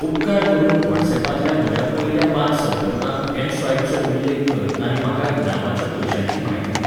उपकार करून व्हॉट्सअॅपांतल्या म्हज्या पयल्या पांच संपर्कांक एमस्वायपचो उल्लेख कर आनी म्हाका इनामाच्या पयशांची म्हायती दी.